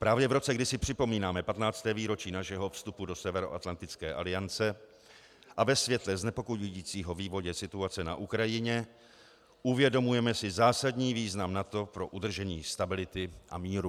Právě v roce, kdy si připomínáme 15. výročí našeho vstupu do Severoatlantické aliance, a ve světle znepokojujícího vývoje situace na Ukrajině uvědomujeme si zásadní význam NATO pro udržení stability a míru.